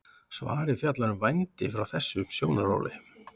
svarið fjallar um vændi frá þessum sjónarhóli